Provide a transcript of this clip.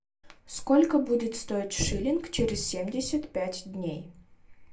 сколько будет стоить шиллинг через семьдесят пять дней